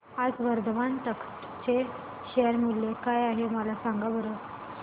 आज वर्धमान टेक्स्ट चे शेअर मूल्य काय आहे सांगा बरं